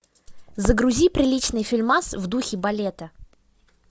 загрузи приличный фильмас в духе балета